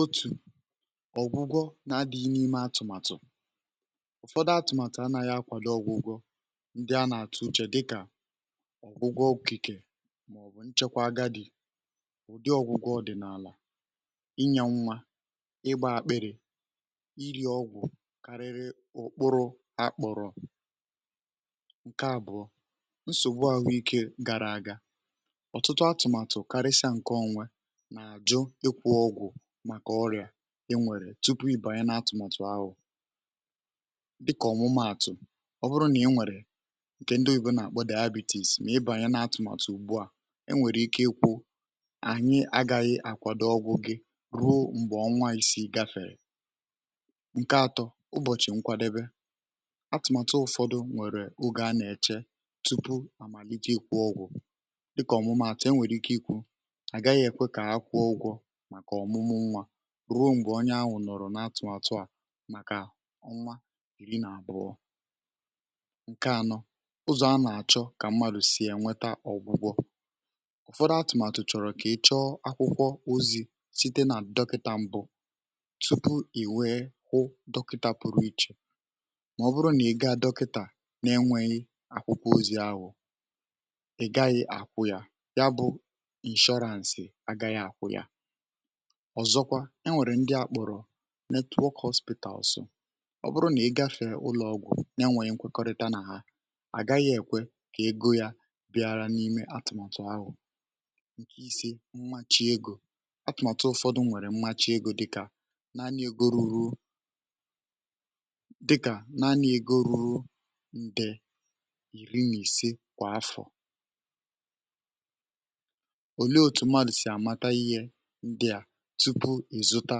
òtù ọ̀gwụgwọ na-adị̇ghị̇ ime atụ̀màtụ̀ ụ̀fọdụ atụ̀màtụ̀ anȧghị̇ akwàdụ ọ̀gwụgwọ ndị a nà-àtụ uchè dịkà ọ̀gwụgwọ okikė um màọ̀bụ̀ nchekwa aga dị̀ ụ̀dị ọ̀gwụgwọ ọ̀dị̀nààlà ị nyėnwȧ ị gbȧ ȧkpị̀rị̀ ị rɪ̇ ọgwụ̀ kàrịrị ụ̀kpụrụ àkpọ̀rọ̀ ǹkè àbụ̀ọ na-àjụ ịkwụ̇ ọgwụ̀ màkà ọrịà ị nwèrè tupu ị banye n’atụ̀mụ̀tụ̀ ahụ̀ dịkà ọ̀mụmụ àtụ̀ ọ bụrụ nà ị nwèrè ǹkè ndị owu̇bė nà-àkpọ dị abịtịs mà ị bànye n’atụ̀mụ̀tụ̀ ugbu à ị nwèrè ike ịkwụ̇ ànyị agȧghị àkwado ọgwụ̇ gị ruo m̀gbè ọnwa isi̇ gafèrè ǹkè atọ̀ ụbọ̀chị̀ nkwàdèbè atụ̀màtụ̀ um ụ̀fọdụ nwèrè ogè a nà-èche tupu àmàlìje ịkwụ̇ ọgwụ̀ àgaghị èkwe kà ha kwuo ụgwọ̇ màkà ọ̀mụmụ nwȧ ruo m̀gbè onye ahụ̀ nọ̀rọ̀ n’atụ̀ àtụ̀ à màkà ọnwa ìri nà àbụọ ǹkè ànọ um ụzọ̀ a nà-àchọ kà mmadụ̀ sì enweta ọ̀gwụgwọ ụ̀fọdụ atụ̀màtụ̀ chọ̀rọ̀ kà ị̀ chọọ akwụkwọ ozi̇ site nà dọkịta mbụ tupu ì wèe kwụ dọkịta pụrụ ichè mà ọ bụrụ nà ị ga dọkịtà n’enweghị akwụkwọ ozi ahụ̇ um ọ̀zọkwa e nwèrè ndi àkpọ̀rọ̀ netwokọ̇shpɪ̀tà ọsọ ọ bụrụ nà ị gafè ụlọ̀ ọgwụ̀ na enwèrè nkwekọrịta nà ha àgaghị èkwe kà ego yȧ bịara n’ime atụ̀màtụ̀ ahụ̀ um ǹke ise mmachị egȯ atụ̀màtụ̀ ụ̀fọdụ mwèrè mmachị egȯ dịkà naanị ego ruru dịkà naanị ego ruru ǹdè ìri nà ìse kwà afọ̀ ndị à tupu è zụta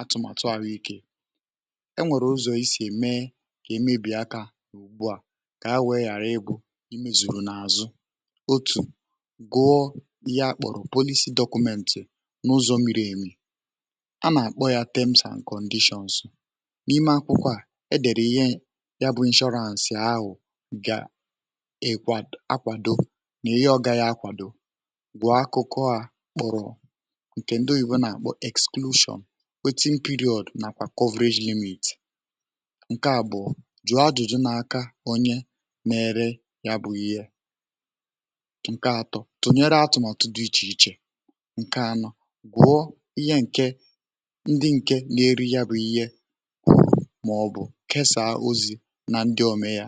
atụ̀màtụ àhụ ikė e nwèrè ụzọ̀ isì ème kà èmebìakȧ ùgbu à kà ha wèe ghàra egwu̇ i mezùrù n’àzụ otù gụọ ihe à kpọ̀rọ̀ polizi dọkụmeǹtị̀ n’ụzọ̀ mmiri̇ èmì a nà-àkpọ yȧ tems and kọ̀ndishọnsu n’ime akwụkwọ à e dèrè ihe ya bụ̇ inshọransị ahụ̀ ga ekwà akwàdo nà ihe ọga ya akwàdo ǹkè ndị oyibo nà m̀kpọ sulsion wetị m̀pịrịọdụ̀ nàkwà ‘covillage unit’ ǹkè àbụọ jụ̀ adụ̀dụ n’aka onye na-ere ya bụ̇ ihe ǹkè atọ̀ tụnyere atụ̀ mà ọ̀tụ dị̀ ichè ichè ǹkè anọ̇ gwụọ ihe ǹkè ndị ǹke na-eri ya bụ̇ ihe mọ̀ọ̀ bụ̀ ǹkè saa ozi̇ nà ndị ọme ya.